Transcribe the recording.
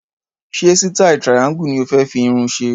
Ṣé sítáì triangle ni o fé fi irun ṣe?